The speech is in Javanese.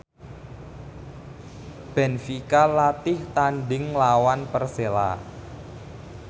benfica latih tandhing nglawan Persela